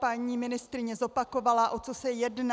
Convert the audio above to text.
Paní ministryně zopakovala, o co se jedná.